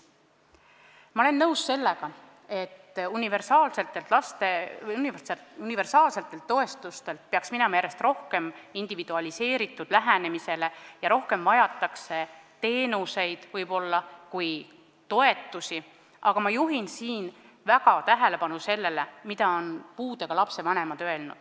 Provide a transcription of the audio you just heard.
Ma olen nõus sellega, et universaalsetelt toetustelt peaks minema järjest rohkem üle individualiseeritud lähenemisele ja rohkem vajatakse võib-olla teenuseid kui toetusi, aga ma juhin tähelepanu sellele, mida on öelnud puudega laste vanemad.